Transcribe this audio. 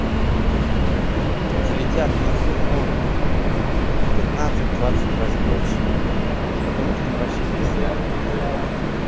влетят на сумму в пятнадцать двадцать раз больше потому что им вообще пизда будет